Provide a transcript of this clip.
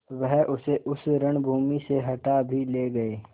वह उसे उस रणभूमि से हटा भी ले गये